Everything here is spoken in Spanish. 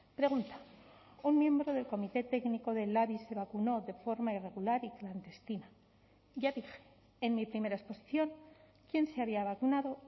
pregunta un miembro del comité técnico del labi se vacunó de forma irregular y clandestina ya dije en mi primera exposición quién se había vacunado